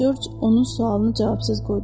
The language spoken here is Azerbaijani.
Corc onun sualını cavabsız qoydu.